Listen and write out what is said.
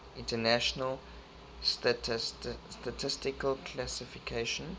international statistical classification